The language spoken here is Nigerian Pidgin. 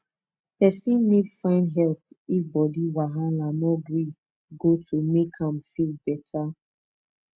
person need find help if body wahala no gree goto make am feel better